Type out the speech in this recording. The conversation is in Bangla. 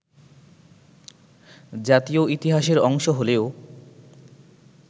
জাতীয় ইতিহাসের অংশ হলেও